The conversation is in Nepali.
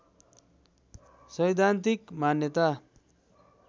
सैद्धान्तिक मान्यता